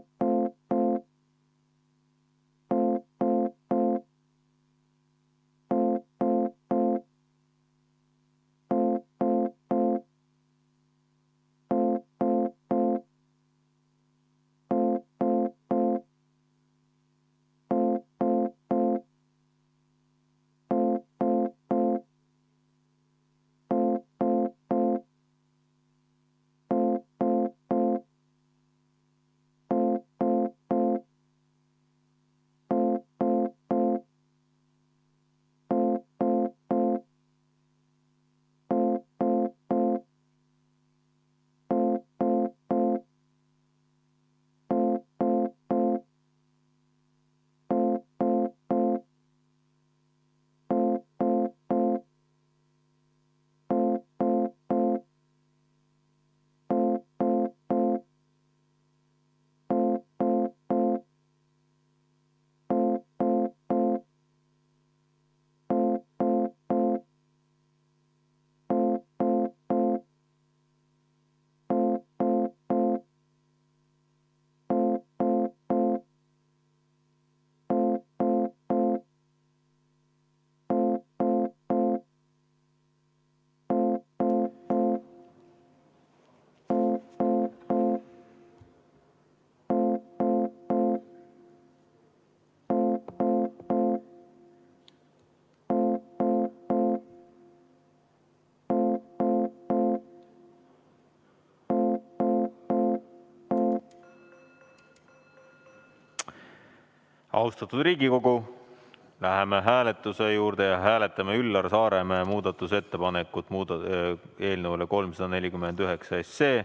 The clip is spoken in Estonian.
V a h e a e g Austatud Riigikogu, läheme hääletuse juurde ja hääletame Üllar Saaremäe muudatusettepanekut eelnõu 349 kohta.